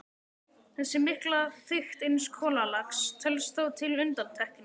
Þessi mikla þykkt eins kolalags telst þó til undantekninga.